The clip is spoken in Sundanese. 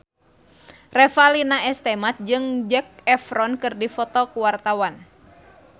Revalina S. Temat jeung Zac Efron keur dipoto ku wartawan